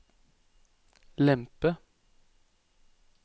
lempe